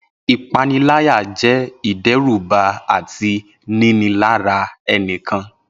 Ipanilaya jẹ idẹruba ati ninilara ẹnikan.